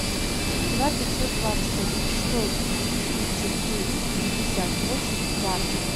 два пятьсот двадцать один сто тридцать девять пятьдесят восемь двадцать